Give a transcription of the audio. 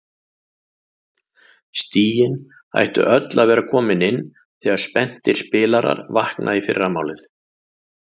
Stigin ættu öll að vera komin inn þegar spenntir spilarar vakna í fyrramálið.